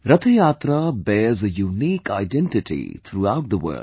Rath Yatra bears a unique identity through out the world